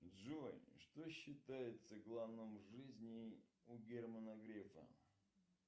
джой что считается главным в жизни у германа грефа